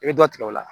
I bɛ dɔ tigɛ o la